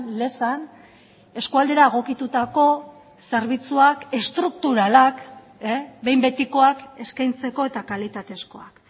lezan eskualdera egokitutako zerbitzuak estrukturalak behin betikoak eskaintzeko eta kalitatezkoak